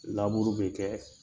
Laburu be kɛ